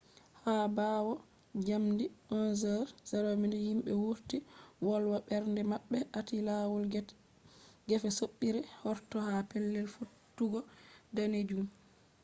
ha ɓawo njamdi 11:00 yimɓe wurti wolwa ɓernde maɓɓe aati lawol gefe soɓɓiire hortol ha pellel fottugo danejum